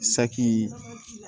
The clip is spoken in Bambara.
Saki